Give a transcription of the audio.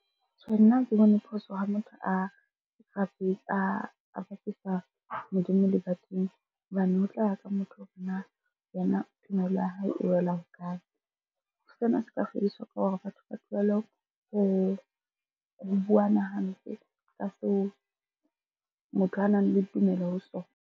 Tjhe, nna ha ke bone phoso ha motho a bapisa Modimo le badimo hobane ho tla ya ka motho hore na yena tumelo ya hae e wela hokae? Sena se ka fediswa ka hore batho ba tlwelle ho buana hampe ka seo motho a nang le tumello ho sona.